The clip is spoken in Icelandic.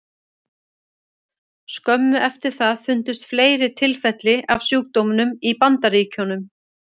Skömmu eftir það fundust fleiri tilfelli af sjúkdómnum í Bandaríkjunum.